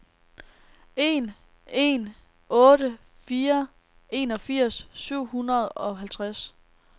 en en otte fire enogfirs syv hundrede og halvtreds